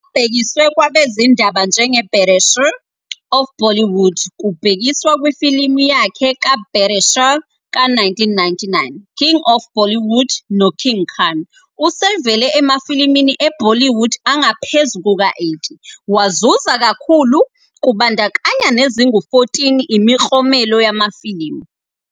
Abhekiswe kwabezindaba njenge "Baadshah of Bollywood", kubhekiswa kwifilimu yakhe ka-Baadshah ka-1999, "King of Bollywood" no "King Khan", usevele emafilimini e-Bollywood angaphezu kuka-80, wazuza kakhulu, kubandakanya nezingu-14 Imiklomelo Yamafilimu.